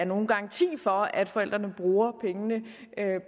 nogen garanti for at forældrene bruger pengene